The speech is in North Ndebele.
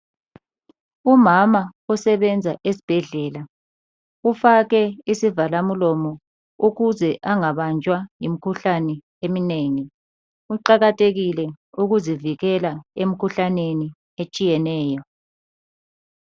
Umama osebenza esibhedlela ufake isivalamlomo ukuze angabanjwa yimkhuhlane eminengi. Kuqakathekile ukuzivikela emkhuhlaneni etshiyeneyo.